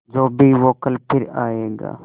जो भी हो कल फिर आएगा